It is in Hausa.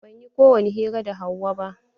Ban yi ko wani hira da Hauwa ba.